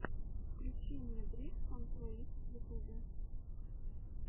включи мне бригсон плэйс в ютубе